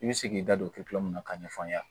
I bɛ se k'i da don na k'a ɲɛf'an ɲe